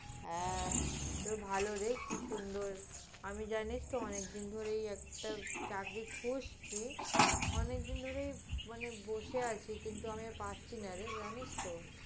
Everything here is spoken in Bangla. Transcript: হ্যাঁ, তো ভালো রে কি সুন্দর। আমি জানিস তো অনেকদিনই ধরে একটা চাকরি খুঁজছি। অনেকদিন ধরেই মানে বসে আছি, কিন্তু আমি আর পারছি নারে, জানিস তো।